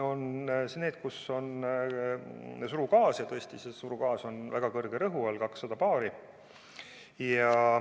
On need, kus on surugaas, ja see surugaas on väga kõrge rõhu all: 200 baari.